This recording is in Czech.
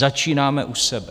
Začínáme u sebe.